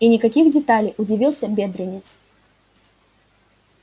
и никаких деталей удивился бедренец